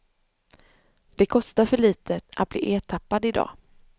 Det kostar för litet att bli ertappad i dag.